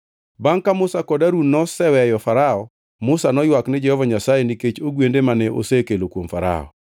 Bangʼ ka Musa kod Harun noseweyo Farao, Musa noywak ni Jehova Nyasaye nikech ogwende mane osekelo kuom Farao.